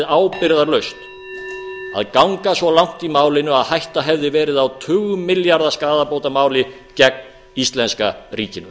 ábyrgðarlaust að ganga svo langt í málinu að hætta hefði verið á tugmilljarða skaðabótamáli gegn íslenska ríkinu